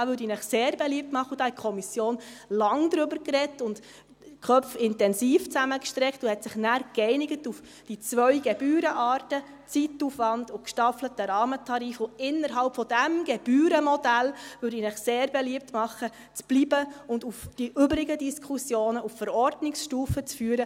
Da würde ich Ihnen sehr beliebt machen – darüber hat die Kommission lange gesprochen, die Köpfe intensiv zusammengesteckt und hat sich nachher auf die zwei Gebührenarten Zeitaufwand und gestaffelten Rahmentarif geeinigt –, innerhalb dieses Gebührenmodells zu bleiben und die übrigen Diskussionen auf Verordnungsstufe zu führen.